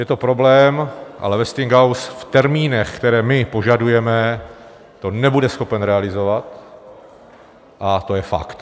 Je to problém, ale Westinghouse v termínech, které my požadujeme, to nebude schopen realizovat, a to je fakt.